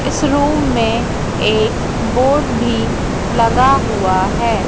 इस रूम में एक बोर्ड भी लगा हुआ है।